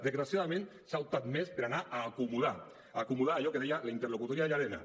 desgraciadament s’ha optat més per anar a acomodar a acomodar allò que deia la interlocutòria de llarena